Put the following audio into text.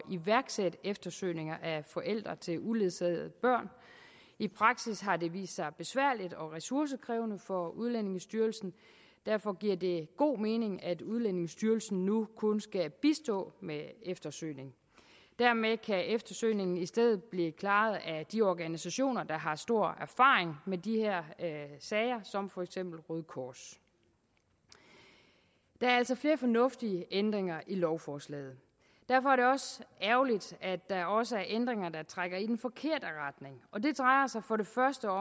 iværksætte eftersøgning af forældre til uledsagede børn i praksis har det vist sig besværligt og ressourcekrævende for udlændingestyrelsen derfor giver det god mening at udlændingestyrelsen nu kun skal bistå med eftersøgning dermed kan eftersøgningen i stedet blive klaret af de organisationer der har stor erfaring med de her sager som for eksempel røde kors der er altså flere fornuftige ændringer i lovforslaget derfor er det også ærgerligt at der også er ændringer der trækker i den forkerte retning og det drejer sig